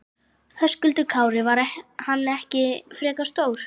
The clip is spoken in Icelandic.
Höskuldur Kári: Var hann ekki frekar stór?